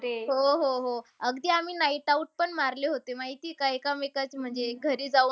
हो, हो, हो. अगदी आम्ही nightout पण मारले होते. माहितीय का? एकमेकांच्या म्हणजे घरी जाऊन